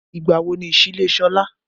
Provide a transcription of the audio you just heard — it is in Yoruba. Ìgbà wo ni ìsílé Sọlá?